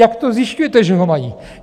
Jak to zjišťujete, že ho mají?